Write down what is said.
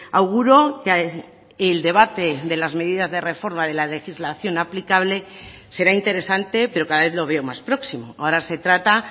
auguro que el debate de las medidas de reforma de la legislación aplicable será interesante pero cada vez lo veo más próximo ahora se trata